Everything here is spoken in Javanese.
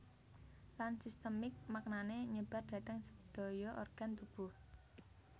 Lan sistemik maknane nyebar dhateng sedaya organ tubuh